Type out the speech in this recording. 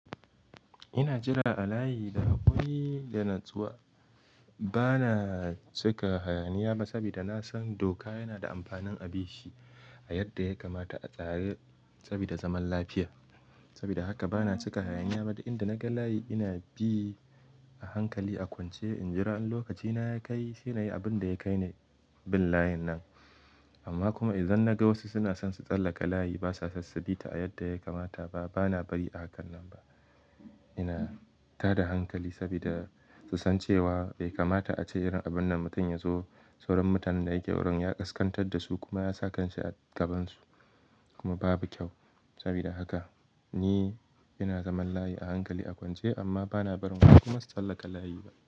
Ina jira a layi da hakuri da natsuwa. Bana cika hayaniya ba, saboda na san doka yana da amfanin a bishi a yadda ya kamata a tare sabida zaman lafiya. Saboda haka bana cika hayaniya ba, duk inda naga layi ina bi a hankali a kwance. In jira, in lokaci na ya kai, sai nayi abin da ya kai ni, bin layin nan. Amma kuma idan naga wasu suna son su tsallaka layi ba sa son subita a yadda ya kamata ba, bana bari a kan nan ba. Ina tada hankali, sabida su san cewa bai kamata ace irin abun nan mutum ya zo, sauran mutanen da yake wurin ya ƙasƙantar da su kuma ya sa kan shi a gabansu, kuma babu kyau. Saboda haka ni ina zaman layi a hankali a kwance amma bana barin wasu kuma su tsallaka layi ba.